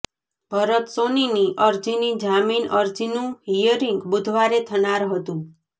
ભરત સોનીની અરજીની જામીન અરજીનું હીયરિંગ બુધવારે થનાર હતું